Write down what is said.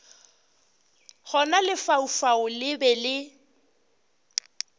gona lefaufau le be le